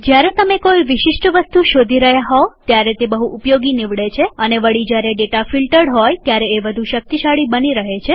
જયારે તમે કોઈ વિશિષ્ટ વસ્તુ શોધી રહ્યા હોવ ત્યારે તે બહુ ઉપયોગી નીવડે છે અને વળી જ્યારે ડેટા ફિલટર્ડ હોય ત્યારે એ વધુ શક્તિશાળી બની રહે છે